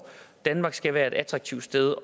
danmark skal være et attraktivt sted